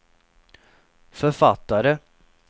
författare